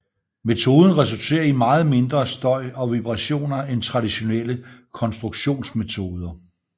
Metoden resulterer i meget mindre støj og vibrationer end traditionelle konstruktionsmetoder